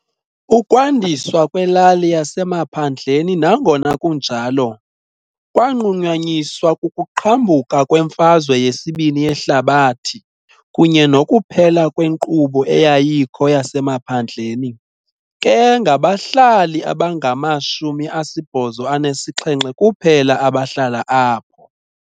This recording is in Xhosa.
Ukwandiswa kwelali yasemaphandleni, nangona kunjalo, kwanqunyanyiswa kukuqhambuka kweMfazwe yesiBini yeHlabathi kunye nokuphela kwenkqubo eyayikho yasemaphandleni, ke ngabahlali abangama-87 kuphela abahlala apho.